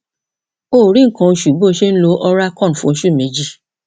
o ò rí nǹkan oṣù bó o ṣe ń lo oralcon fún oṣù méjì